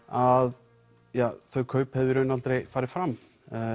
að ja þau kaup hefðu í raun aldrei farið fram